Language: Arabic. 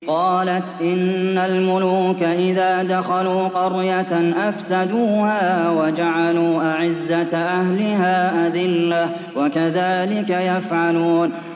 قَالَتْ إِنَّ الْمُلُوكَ إِذَا دَخَلُوا قَرْيَةً أَفْسَدُوهَا وَجَعَلُوا أَعِزَّةَ أَهْلِهَا أَذِلَّةً ۖ وَكَذَٰلِكَ يَفْعَلُونَ